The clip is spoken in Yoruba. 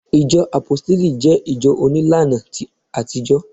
ìjọ àpóstélì je ìjọ onílàna àtijó